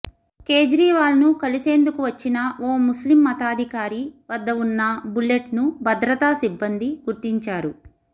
కేజ్రీవాల్ను కలిసేందుకు వచ్చిన ఓ ముస్లిం మతాధికారి వద్ద ఉన్న బుల్లెట్ను భద్రతా సిబ్బంది గుర్తించారు